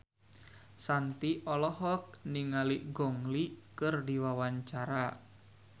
Shanti olohok ningali Gong Li keur diwawancara